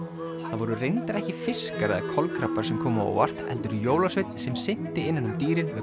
það voru reyndar ekki fiskar eða kolkrabbar sem komu á óvart heldur jólasveinn sem synti innan um dýrin með